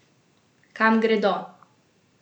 Kam gredo?